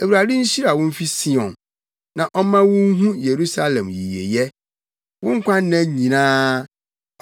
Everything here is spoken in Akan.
Awurade nhyira wo mfi Sion na ɔmma wunhu Yerusalem yiyeyɛ; wo nkwanna nyinaa.